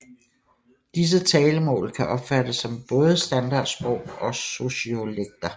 Disse talemål kan opfattes som både standardsprog og sociolekter